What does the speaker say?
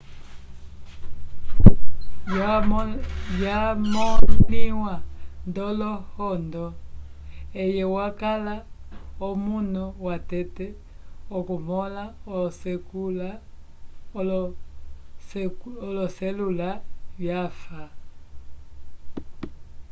vyamõliwa nd'olohondo eye wakala omunu watete okumõla oloselula vyafa